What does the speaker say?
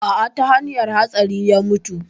A'a ta hanyan hatsari ya mutu